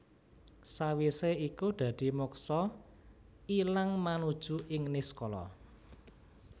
Sawisé iku dadi moksa ilang manuju ing niskala